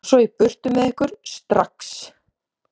Og svo í burtu með ykkur, STRAX.